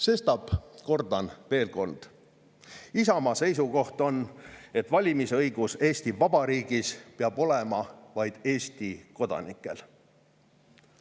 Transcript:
Sestap kordan veel kord: Isamaa seisukoht on, et valimisõigus Eesti Vabariigis peab olema vaid Eesti kodanikel.